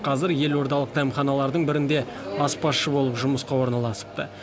қазір елордалық дәмханалардың бірінде аспазшы болып жұмысқа орналасыпты